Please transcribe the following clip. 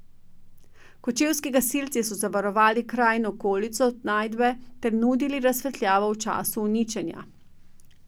Kočevski gasilci so zavarovali kraj in okolico najdbe ter nudili razsvetljavo v času uničenja.